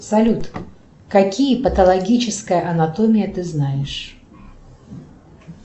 салют какие патологическая анатомия ты знаешь